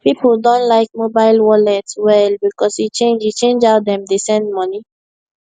people don like mobile wallet well because e change e change how dem dey send money